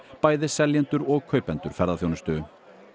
bæði seljendur og kaupendur ferðaþjónustu